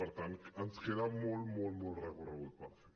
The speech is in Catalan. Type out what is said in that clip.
per tant ens queda molt molt molt recorregut per fer